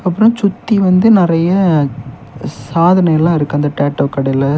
அப்ரோ சுத்தி வந்து நிறைய சாதனை எல்லா இருக்கு அந்த டேட்டூ கடையில.